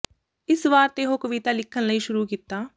ਇਸ ਵਾਰ ਤੇ ਉਹ ਕਵਿਤਾ ਲਿਖਣ ਲਈ ਸ਼ੁਰੂ ਕੀਤਾ